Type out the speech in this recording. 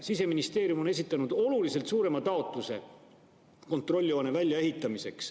Siseministeerium on esitanud oluliselt suurema taotluse kontrolljoone väljaehitamiseks.